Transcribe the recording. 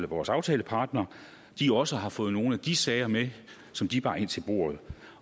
vores aftalepartnere også har fået nogle af de sager med som de bar ind til bordet